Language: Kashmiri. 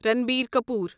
رنبیر کپور